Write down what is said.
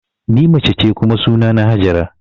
Ni mace ce kuma sunana Hajara